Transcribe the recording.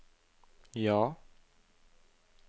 ja